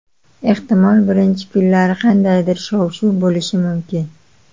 Ehtimol, birinchi kunlari qandaydir shov-shuv bo‘lishi mumkin.